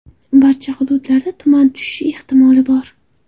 Barcha hududlarda tuman tushishi ehtimoli bor.